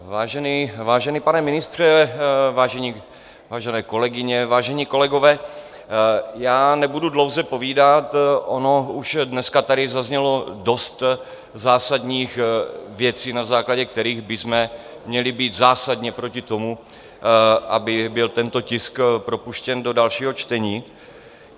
Vážený pane ministře, vážené kolegyně, vážení kolegové, já nebudu dlouze povídat, ono už dneska tady zaznělo dost zásadních věcí, na základě kterých bychom měli být zásadně proti tomu, aby byl tento tisk propuštěn do dalšího čtení.